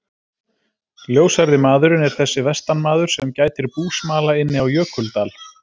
Ljóshærði maðurinn er þessi vestanmaður, sem gætir búsmala inni á Jökuldal.